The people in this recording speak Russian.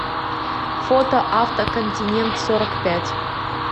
фото авто континентсорокпять